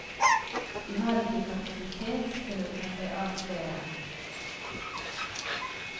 De har ikke kapasitet til å ta seg av flere.